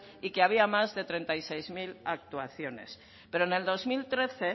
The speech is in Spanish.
y que había más de treinta y seis mil actuaciones pero en el dos mil trece